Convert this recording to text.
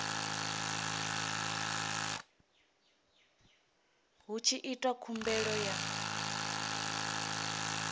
hu tshi itwa khumbelo ya